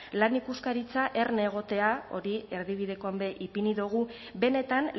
lan ikuskaritza erne egotea hori erdibidekoan be ipini dugu benetan